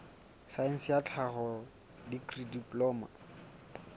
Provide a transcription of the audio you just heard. saense ya tlhaho dikri diploma